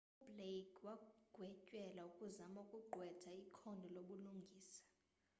ublake wagwetyelwa ukuzama ukugqwetha ikhondo lobulungisa